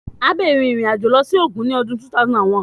Abby rin irin ajo lọ si Ogun ni ọdun 2021